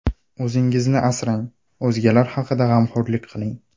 O‘zingizni asrang, o‘zgalar haqida g‘amxo‘rlik qiling.